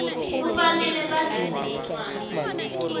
kufanele baveze incwadi